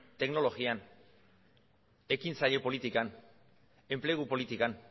teknologian ekintzaile politikan enplegu politikan